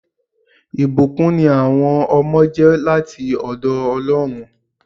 ìbùkún ní àwọn ọmọ jẹ́ láti ọ̀dọ̀ Ọlọ́run